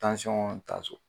Tansɔn ta so.